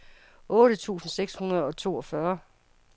otte tusind seks hundrede og toogfyrre